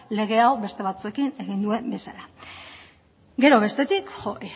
lege hau beste batzuekin egin duen bezala gero bestetik